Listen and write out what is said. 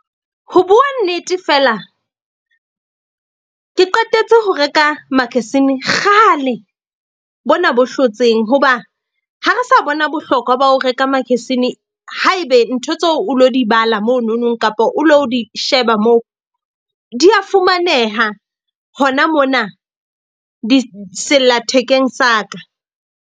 Ho bua nnete, fela ke qetetse ho reka magazine kgale bona bo hlotseng. Hoba ha re sa bona bohlokwa ba ho reka magazine haebe ntho tseo o lo di bala mono nong kapa o lo di sheba moo, di ya fumaneha hona mona sellathekeng sa ka.